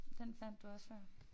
Den fandt du også før